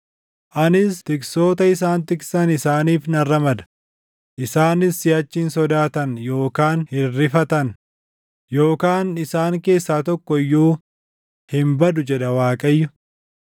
Anis tiksoota isaan tiksan isaaniif nan ramada; isaanis siʼachi hin sodaatan; yookaan hin rifatan, yookaan isaan keessaa tokko iyyuu hin badu” jedha Waaqayyo.